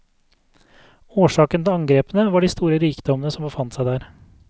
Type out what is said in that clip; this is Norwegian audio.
Årsaken til angrepene var de store rikdommene som befant seg der.